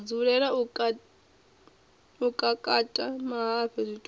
dzulela u kakata mahafhe zwitumbu